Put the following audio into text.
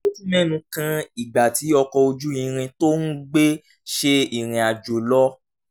ó tún mẹ́nu kan ìgbà tí ọkọ̀ ojú irin tó ń gbé ṣe ìrìn àjò lọ